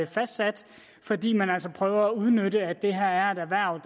fastsat fordi man altså prøver at udnytte at det her er et erhverv